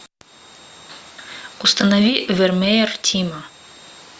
установи вермеер тима